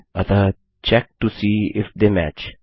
अतः check to see if they match